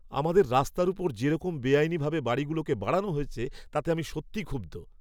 আমাদের রাস্তার ওপর যেরকম বেআইনিভাবে বাড়িগুলোকে বাড়ানো হয়েছে তাতে আমি সত্যিই ক্ষুব্ধ।